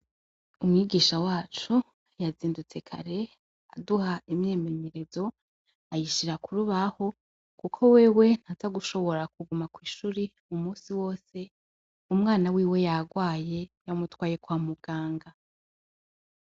Umwigisha wacu yazindutse kare aduha imyemenyerezo ayishira kurubaho kuko wewe ntaza gushobora kuguma kw'ishuri umunsi wose, umwana wiwe yagwaye yamutwaye kwa muganga.